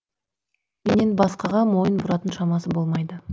менен басқаға мойын бұратын шамасы болмайды